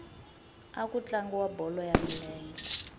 a ku tlangiwa bolo ya milenge